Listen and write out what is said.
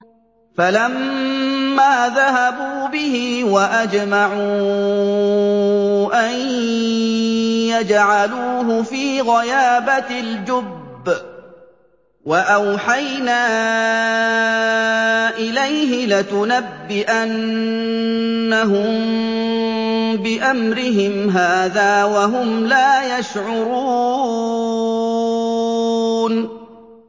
فَلَمَّا ذَهَبُوا بِهِ وَأَجْمَعُوا أَن يَجْعَلُوهُ فِي غَيَابَتِ الْجُبِّ ۚ وَأَوْحَيْنَا إِلَيْهِ لَتُنَبِّئَنَّهُم بِأَمْرِهِمْ هَٰذَا وَهُمْ لَا يَشْعُرُونَ